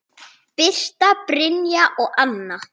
Birta, Brynja og Anna.